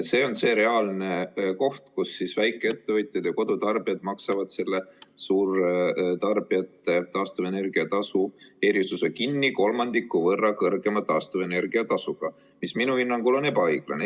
See on see reaalne koht, kus väikeettevõtjad ja kodutarbijad maksavad suurtarbijate taastuvenergia tasu erisuse kinni kolmandiku võrra kõrgema taastuvenergia tasuga, mis minu hinnangul on ebaõiglane.